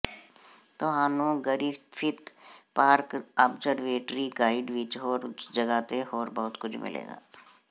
ਤੁਹਾਨੂੰ Griffith park observatory guide ਵਿਚ ਉਸ ਜਗ੍ਹਾ ਤੇ ਹੋਰ ਬਹੁਤ ਕੁਝ ਮਿਲੇਗਾ